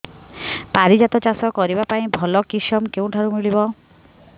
ପାରିଜାତ ଚାଷ କରିବା ପାଇଁ ଭଲ କିଶମ କେଉଁଠାରୁ ମିଳିବ